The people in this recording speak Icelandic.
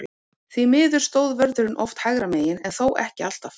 Því miður stóð vörðurinn oft hægra megin, en þó ekki alltaf.